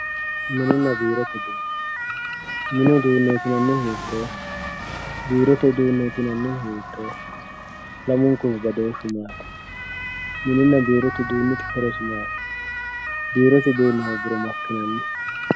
Mininna biirote uduune, mini uduu'ne yinanihu hiitoho, biirote uduune yinanihu hiitoho, lamunkuhu badooshu maati, mininna biirote uduunihu horosi maati, biirote uduuni hoogiro makinanni